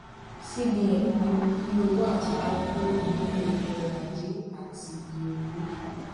cbn pinnu yí owó àtijọ kúrò nínú eto ọrọ ajé àti iye owó